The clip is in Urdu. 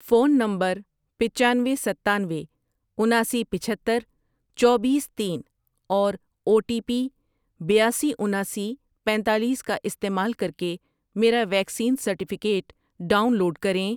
فون نمبرپچانوے، ستانوے، اناسی، پچہتر، چوبیس، تین اور او ٹی پی بیاسی، اناسی، پینتالیس کا استعمال کر کے میرا ویکسین سرٹیفکیٹ ڈاؤن لوڈ کریں۔